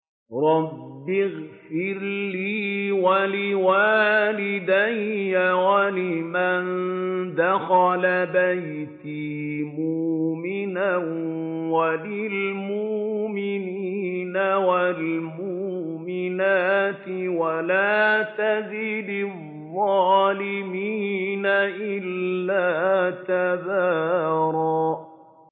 رَّبِّ اغْفِرْ لِي وَلِوَالِدَيَّ وَلِمَن دَخَلَ بَيْتِيَ مُؤْمِنًا وَلِلْمُؤْمِنِينَ وَالْمُؤْمِنَاتِ وَلَا تَزِدِ الظَّالِمِينَ إِلَّا تَبَارًا